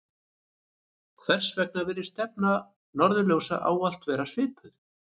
hvers vegna virðist stefna norðurljósa ávallt vera svipuð